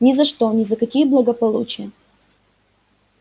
ни за что ни за какие благополучия